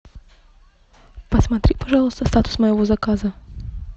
посмотри пожалуйста статус моего заказа